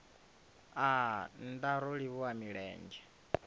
aa nndaa ro livhuwa milenzhe